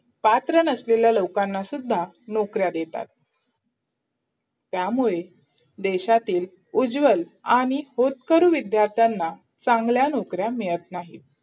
पात्र नसलेल्या लोकांनासुद्धा नोकऱ्या देतात त्यामुळे देशातील उज्ज्वल आणि होतकरू विध्यार्थ्यांना चांगल्या नोकऱ्या मिळत नाहीत.